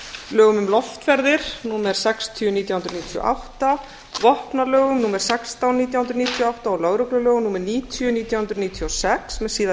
lögum um loftferðir númer sextíu nítján hundruð níutíu og átta vopnalögum númer sextán nítján hundruð níutíu og átta og lögreglulögum númer níutíu nítján hundruð níutíu og sex með síðari